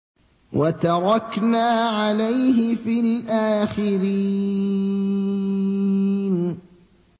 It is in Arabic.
وَتَرَكْنَا عَلَيْهِ فِي الْآخِرِينَ